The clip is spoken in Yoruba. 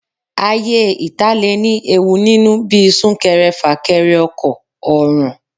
Ayé ìta lè ní ewu nínú bíi sún-kẹrẹ-fà-kẹrẹ ọkọ̀, ọ̀ràn.